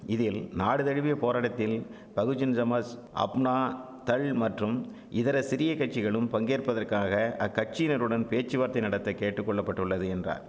இதில் நாடு தழுவிய போராடத்தில் பகுஜன் சமாஷ் அப்னா தள் மற்றும் இதர சிறிய கட்சிகளும் பங்கேற்பதற்காக அக்கட்சியினருடன் பேச்சு வார்த்தை நடத்த கேட்டுக்கொள்ளப்பட்டுள்ளது என்றார்